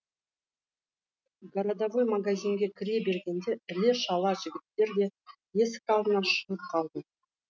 городовой магазинге кіре бергенде іле шала жігіттер де есік алдына шығып қалды